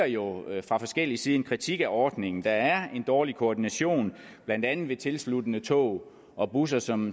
jo fra forskellig side ligger en kritik af ordningen der er en dårlig koordination blandt andet ved tilsluttende tog og busser som